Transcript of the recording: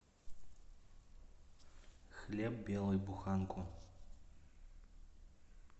хлеб белый буханку